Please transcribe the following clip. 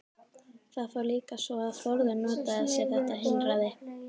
Það fór líka svo að Þórður notaði sér þetta heilræði.